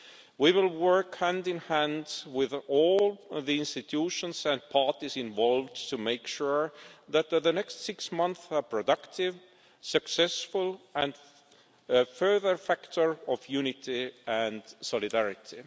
We will work hand in hand with all of the institutions and parties involved to make sure that the next six months are productive, successful and a further factor of unity and solidarity.